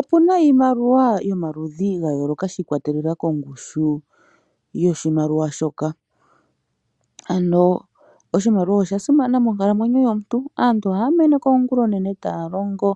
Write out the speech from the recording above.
Opuna iimaliwa yomaludhi ga yooloka shi ikwatelela kongushu yoshimaliwa shoka. Ano oshimaliwa osha simana moonkalamwenyo yomuntu. Aantu ohaya meneka ongula onene taya longo